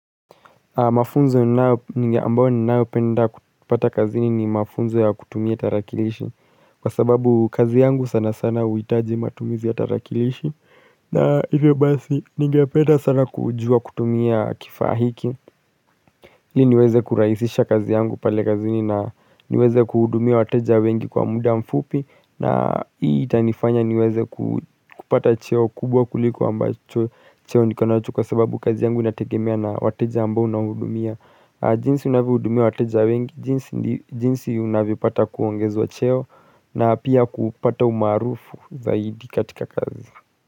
Mafunzo ambayo ninayopenda kupata kazini ni mafunzo ya kutumia tarakilishi. Kwa sababu kazi yangu sana sana huitaji matumizi ya tarakilishi na hivyo basi ningependa sana kujua kutumia kifaa hiki ili niweze kurahisisha kazi yangu pale kazini na niweze kuhudumia wateja wengi kwa muda mfupi, na hii itanifanya niweze kupata cheo kubwa kuliko ambacho cheo niko nacho kwa sababu kazi yangu inategemea na wateja ambao nahudumia jinsi unavyohudumia wateja wengi jinsi unavyopata kuongezwa cheo na pia kupata umaarufu zaidi katika kazi.